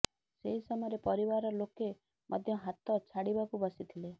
ସେହି ସମୟରେ ପରିବାର ଲୋକେ ମଧ୍ୟ ହାତ ଛାଡିବାକୁ ବସିଥିଲେ